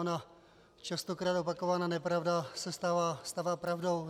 Ona častokrát opakovaná nepravda se stává pravdou.